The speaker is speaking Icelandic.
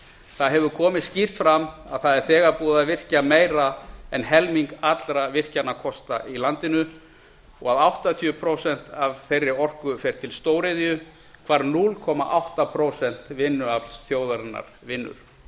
það hefur komið skýrt fram að þegar er búið að virkja meira en helming allra virkjunarkosta í landinu og að áttatíu prósent af þeirri orku fer til stóriðju hvar núll komma átta prósent vinnuaflsins vinnur